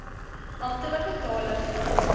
amptelike tale van